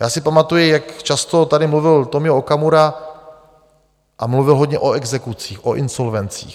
Já si pamatuji, jak často tady mluvil Tomio Okamura a mluvil hodně o exekucích, o insolvencích.